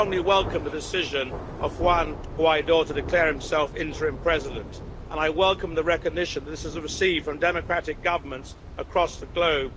welcome the decision of Juan Guaidó to declare himself interim President and I welcome the recognition that this has received from democratic governments across the globe.